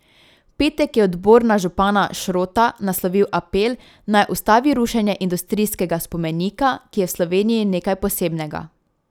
V petek je odbor na župana Šrota naslovil apel, naj ustavi rušenje industrijskega spomenika, ki je v Sloveniji nekaj posebnega.